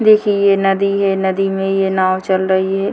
देखिए ये नदी हे नदी में ये नाव चल रही है।